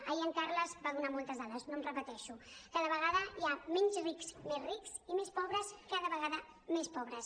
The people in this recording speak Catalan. ahir en carles va donar moltes dades no em repeteixo cada vegada hi ha menys rics més rics i més pobres cada vegada més pobres